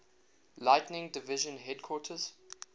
lighting division headquarters